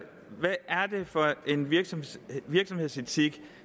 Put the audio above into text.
for en virksomhedsetik virksomhedsetik